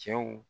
Cɛw